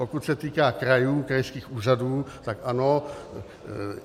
Pokud se týká krajů, krajských úřadů, tak ano.